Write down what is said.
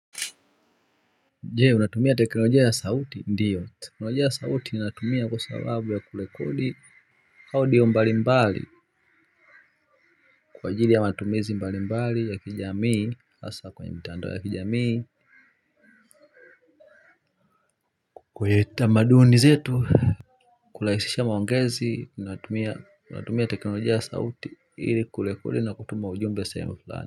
Jee unatumia teknolojia ya sauti ndiyo unajua sauti ninatumia kwa sababu ya kurekodi audio mbali mbali kwa ajiri ya matumizi mbali mbali ya kijamii hasaa kwenye mtandao ya kijamii kwenye tamaduni zetu kurahisisha maongezi unatumia unatumia teknolojia ya sauti ili kurekodi na kutuma ujumbe sehemu flani.